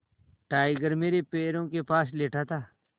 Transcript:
tiger मेरे पैरों के पास लेटा था